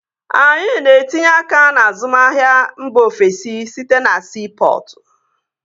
Anyị na-etinye aka n'azụmahia mba ofesi site na siipọtụ